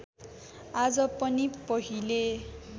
आज पनि पहिले